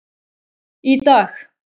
Í dag,